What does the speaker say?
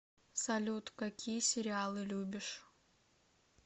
салют какие сериалы любишь